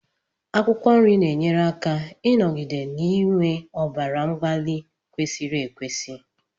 Akwụkwọ nri na-enyere aka ịnọgide n'iwe ọbara mgbali kwesiri ekwesi